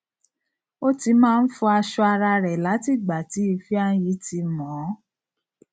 ó ti máa n fọ aṣọ ara rẹ láti ìgbà tí ifeanyi tí mọ ọ